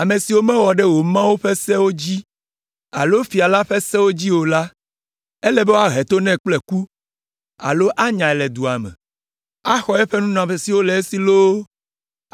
Ame si mewɔ ɖe wò Mawu la ƒe Sewo dzi alo fia la ƒe sewo dzi o la, ele be woahe to nɛ kple ku alo anyae le dua me, axɔ eƒe nunɔamesiwo le esi loo,